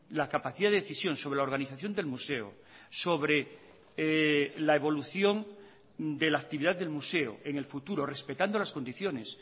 la capacidad de decisión sobre la organización del museo sobre la evolución de la actividad del museo en el futuro respetando las condiciones